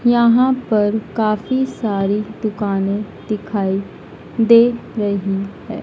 यहां पर काफी सारी दुकाने दिखाई दे रही हैं।